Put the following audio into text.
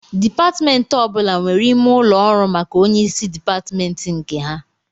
Dịpatmentị ọbụla nwere ime ụlọ ọrụ maka onyeisi dịpatmentị nke ha